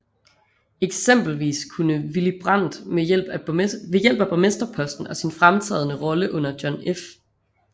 Eksempelvis kunne Willy Brandt ved hjælp af borgmesterposten og sin fremtrædende rolle under John F